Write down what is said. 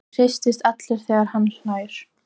Og hristist allur þegar hann hlær.